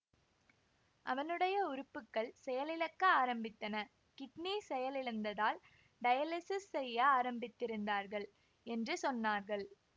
அவனுடைய உறுப்புக்கள் செயலிழக்க ஆரம்பித்திருந்தன கிட்னி செயலிழந்ததால் டயலிஸிஸ் செய்ய ஆரம்பித்திருந்தார்கள் என்று சொன்னார்கள்